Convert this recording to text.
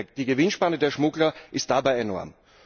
Die Gewinnspanne der Schmuggler ist dabei enorm.